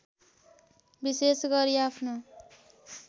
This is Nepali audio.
विशेष गरी आफ्नो